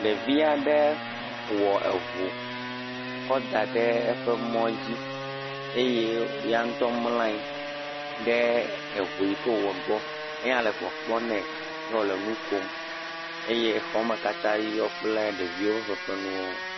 ɖevi aɖe wɔ eʋu kɔ da ɖe eƒe mɔ dzi eye yaŋtɔ mlanyi ɖe eʋu yike wò wɔ gbɔ eye enya le kpɔkpɔm nɛ yɔwole nukom eye xɔ katã yɔ kple fefe nuwo